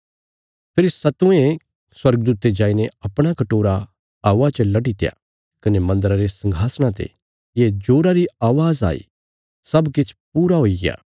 फेरी सतवें स्वर्गदूते जाईने अपणा कटोरा हवा च लटीत्या कने मन्दरा रे संघासणा ते ये जोरा री अवाज़ आई सब किछ पूरा हुईग्या